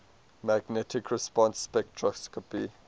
magnetic resonance spectroscopy